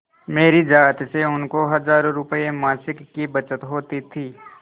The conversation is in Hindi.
मेरी जात से उनको हजारों रुपयेमासिक की बचत होती थी